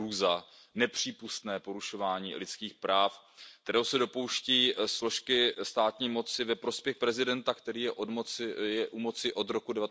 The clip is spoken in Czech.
Je to hrůza, nepřípustné porušování lidských práv, kterého se dopouští složky státní moci ve prospěch prezidenta, který je u moci od roku